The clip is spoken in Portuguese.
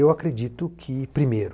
Eu acredito que, primeiro,